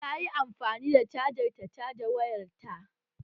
Ta yi amfani da cajar ta caja wayarta?